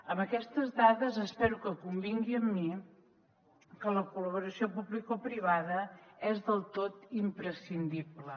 amb aquestes dades espero que convingui amb mi que la col·laboració publicoprivada és del tot imprescindible